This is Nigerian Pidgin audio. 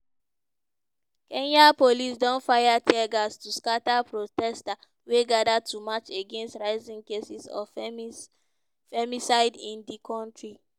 kenyan police don fire tear gas to scata protesters wey gada to march against rising cases of femicide in di kontri.